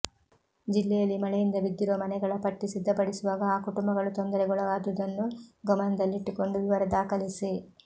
ಜಿಲ್ಲೆಯಲ್ಲಿ ಮಳೆಯಿಂದ ಬಿದ್ದಿರುವ ಮನೆಗಳ ಪಟ್ಟಿ ಸಿದ್ಧಪಡಿಸುವಾಗ ಆ ಕುಟುಂಬಗಳು ತೊಂದರೆಗೊಳಗಾದುದನ್ನು ಗಮನದಲ್ಲಿಟ್ಟುಕೊಂಡು ವಿವರ ದಾಖಲಿಸಿ